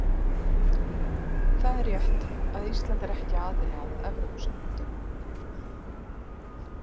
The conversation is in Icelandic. Það er rétt að Ísland er ekki aðili að Evrópusambandinu.